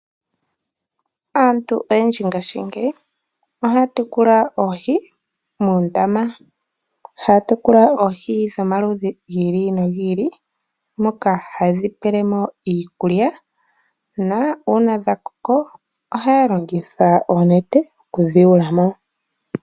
Aantu oyendji mongaashingeyi ohaa tekula oohi muundama. Ohaa tekula oohi dhomaludhi gi ili nogi ili. Oha yedhi pele mo iikulya nuuna dha koko ohaa longitha oonete yedhi yule mo.